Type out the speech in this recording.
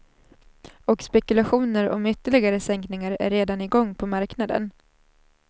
Och spekulationer om ytterligare sänkningar är redan i gång på marknaden.